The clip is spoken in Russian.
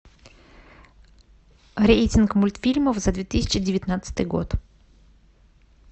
рейтинг мультфильмов за две тысячи девятнадцатый год